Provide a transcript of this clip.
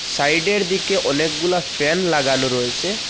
সাইডের দিকে অনেকগুলা ফ্যান লাগানো রয়েসে।